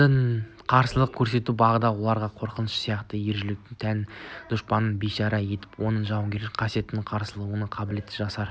олар қарсылық көрсетіп бағады оларға қорқыныш сияқты ержүректілік те тән дұшпанды бейшара етіп оның жауынгерлік қасиетін қарсыласуға қабілеттілігін жасырып